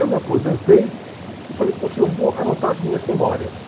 Eu me aposentei e falei, poxa, eu vou anotar as minhas memórias.